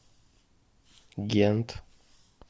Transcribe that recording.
гент